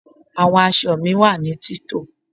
Àwọn aṣọ mí wá ní tito